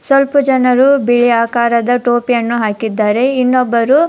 ಸ್ವಲ್ಪ ಜನರು ಬೇರೆ ಆಕಾರದ ಟೋಪಿಯನ್ನು ಹಾಕಿದ್ದಾರೆ ಇನ್ನೊಬ್ಬರು --